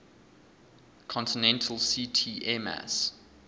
continental ct airmass